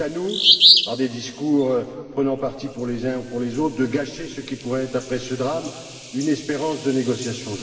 Est ce à nous, par des discours prenant parti pour les uns ou pour les autres, de gâcher ce qui pourrait être, après ce drame, une espérance de négociation?